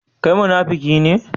Kai munafiki ne?